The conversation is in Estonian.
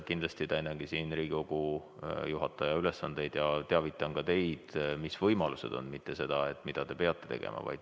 Kindlasti täidan siin Riigikogu juhataja ülesandeid ja teavitan ka teid sellest, mis võimalused on, mitte ei ütle seda, mida te peate tegema.